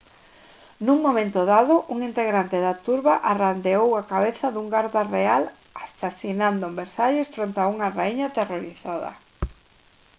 nun momento dado un integrante da turba arrandeou a cabeza dun garda real asasinado en versalles fronte a unha raíña aterrorizada